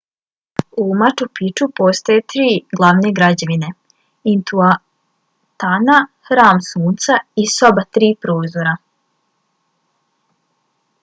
u machu picchu postoje tri glavne građevine - intihuatana hram sunca i soba tri prozora